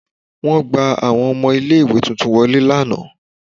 Won gba Awọn ọmọ ile-iwe titun wọle lana